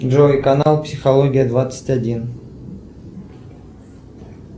джой канал психология двадцать один